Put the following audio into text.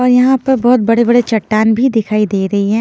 और यहां पर बहोत बड़े बड़े चट्टान भी दिखाई दे रही हैं।